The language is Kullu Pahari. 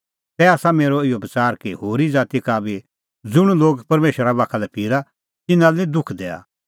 तै आसा मेरअ इहअ बच़ार कि होरी ज़ाती का बी ज़ुंण लोग परमेशरा बाखा लै फिरा तिन्नां लै निं दुख दैआ